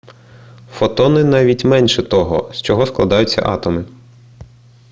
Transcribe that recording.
фотони навіть менше того з чого складаються атоми